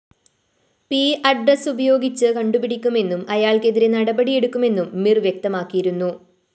P address ഉപയോഗിച്ച് കണ്ടുപിടിക്കുമെന്നും അയാള്‍ക്കെതിരെ നടപടിയെടുക്കുമെന്നും മിര്‍ വ്യക്തമാക്കിയിരുന്നു